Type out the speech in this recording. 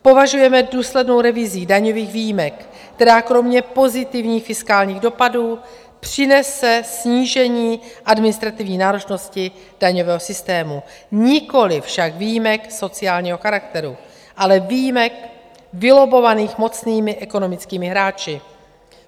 Požadujeme důslednou revizi daňových výjimek, která kromě pozitivních fiskálních dopadů přinese snížení administrativní náročnosti daňového systému, nikoliv však výjimek sociálního charakteru, ale výjimek vylobbovaných mocnými ekonomickými hráči.